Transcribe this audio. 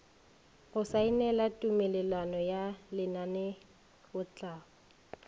go saenela tumelelano ya lenaneotlhahlo